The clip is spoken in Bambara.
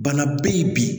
Bana be yen bi